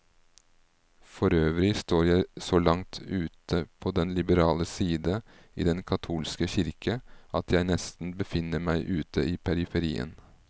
Forøvrig står jeg så langt ute på den liberale side i den katolske kirke, at jeg nesten befinner meg ute i periferien.